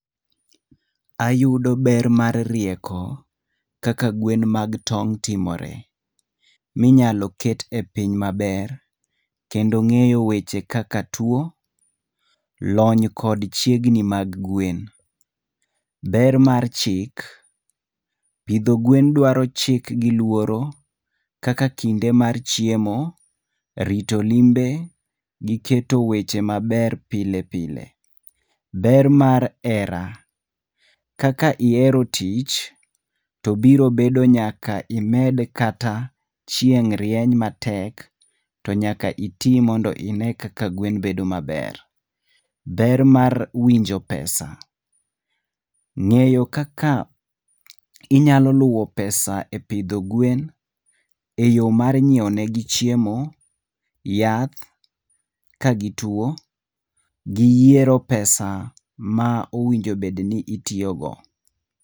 Ayudo ber mar rieko, kaka gwen mag tong' timore. Minyalo ket e piny maber, kendo ng'eyo weche kaka tuo, lony kod chiegni mag gwen. Ber mar chik. Pidho gwen dwaro chik giluoro, kaka kinde mar chiemo, rito limbe giketo weche maber pile pile. Ber mar hera. Kaka ihero tich, to biro bedo nyaka imed kata chieng' rieny matek, to nyaka iti mondo ine kaka gwen bedo maber. Ber mar winjo pesa. Ng'eyo kaka inyalo luwo pesa epidho gwen eyo mar nyiewo negi chiemo, yath ka gituo, gi yiero pesa ma owinjo obed ni itiyo go.